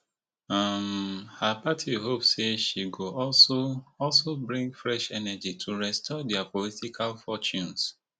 um her party hope say she go also also bring fresh energy to restore dia political fortunes